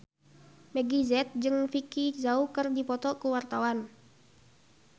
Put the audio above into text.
Meggie Z jeung Vicki Zao keur dipoto ku wartawan